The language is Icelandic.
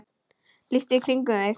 líttu í kringum þig